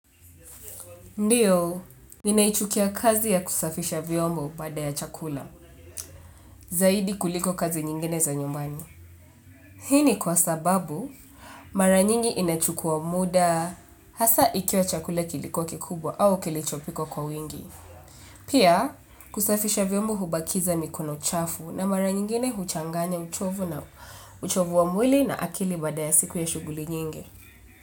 Ndiyo, ninaichukia kazi ya kusafisha vyombo baada ya chakula, zaidi kuliko kazi nyingine za nyumbani. Hii ni kwa sababu, mara nyingi inachukua muda hasa ikiwa chakula kilikuwa kikubwa au kilichopikwa kwa wingi. Pia, kusafisha vyombo hubakiza mikono chafu na mara nyingine huchanganya uchovu na uchovu wa mwili na akili baada ya siku ya shughuli nyingi.